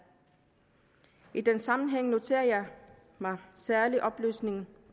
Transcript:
i den sammenhæng noterer jeg mig særlig oplysningen